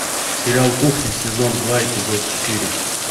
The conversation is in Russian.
сериал кухня сезон два эпизод четыре